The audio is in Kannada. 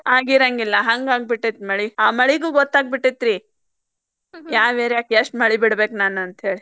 ಆಗಿರಂಗಿಲ್ಲಾ ಹಂಗಾಗಿಬಿಟ್ಟೇತಿ ಮಳಿ ಆ ಮಳಿಗೂ ಗೊತ್ತಾಗಿಬಿಟ್ಟೆತ್ರಿ ಯಾವ್ area ಕ್ ಎಷ್ಟ್ ಮಳಿ ಬಿಡ್ಬೇಕ್ ನಾನ್ ಅಂತೇಳಿ.